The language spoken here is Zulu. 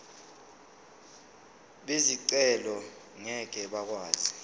bezicelo ngeke bakwazi